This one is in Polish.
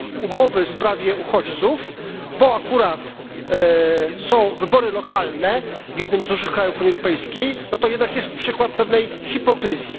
umowy w sprawie uchodźców, bo akurat są wybory lokalne w jednym z dużych krajów Unii Europejskiej, no to jednak jest to przykład pewnej hipokryzji.